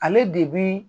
Ale de bi